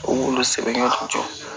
U b'olu sɛbɛn ka jɔ